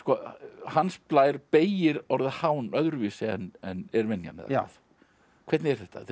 Hans Blær beygir orðið öðruvísi en er venjan hvernig er þetta þetta er